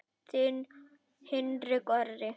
Þinn Hinrik Orri.